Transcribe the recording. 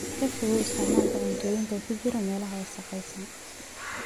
Ka fogow isticmaalka cuntooyinka ku jiray meelaha wasakhaysan.